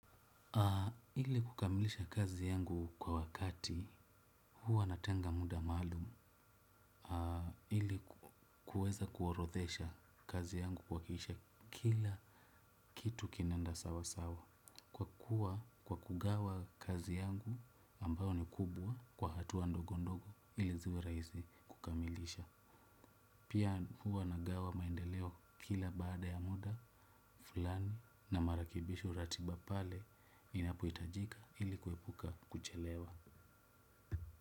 Ili kukamilisha kazi yangu kwa wakati huwa natenga muda maalum. Ili kuweza kuorodhesha kazi yangu kuhakikisha kila kitu kinenda sawa sawa. Kwa kuwa kwa kugawa kazi yangu ambayo ni kubwa kwa hatua ndogo ndogo ili ziwe rahisi kukamilisha. Pia huwa nagawa maendeleo kila baada ya muda fulani na marekibisho ratiba pale inapohitajika ilikuepuka kuchelewa.